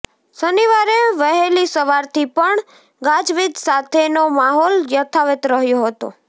શનિવારે વહેલી સવારથી પણ ગાજવીજ સાથેનો માહોલ યથાવત રહ્યો હતો